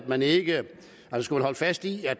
man ikke holder fast i at